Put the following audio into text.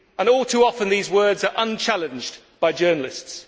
All too often, those words are unchallenged by journalists.